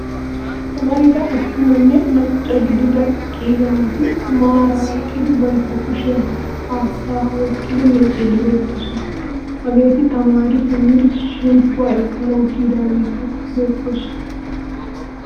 Amarida attumanne macca gidida qiiba naati maara eqqidi bantta kushiya haattaa oyiqqidi miicciiddi beetoosona. Hageeti tamaari simmidi shemppuwa ekkanawu kiyidaageeti beettoosona.